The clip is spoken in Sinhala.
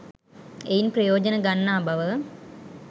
එයින් ප්‍රයෝජන ගන්නා බව,